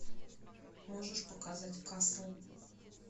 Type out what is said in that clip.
можешь показать касл